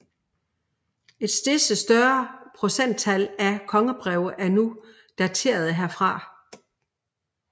Et stedse større procenttal af kongebreve er nu daterede herfra